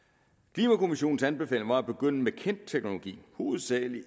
klimakommissionens anbefaling var at begynde med kendt teknologi hovedsagelig i